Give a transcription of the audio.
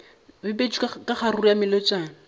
bipetšwe ka kgaruru ya melotšana